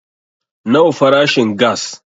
Nawa farashin gass